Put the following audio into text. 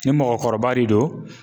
Ni mɔgɔkɔrɔba de don